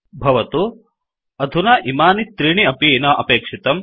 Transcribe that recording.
भवतु अधुना इमानि त्रीणि अपि न अपेक्षितम्